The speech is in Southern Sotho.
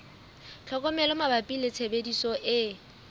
tlhokomelo mabapi le tshebediso e